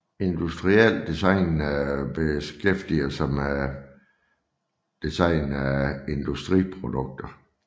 Industrielt design beskæftiger sig med design af industriprodukter